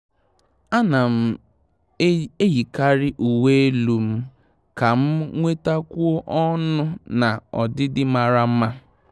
À nà m eyíkàrị uwe elu m kà m nwetákwùọ ọnụ́ na ọdịdị màrà mma.